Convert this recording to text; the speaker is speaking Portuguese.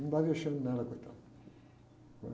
Não dar vexame nela, coitada, num é?